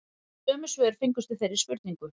Sömu svör fengust við þeirri spurningu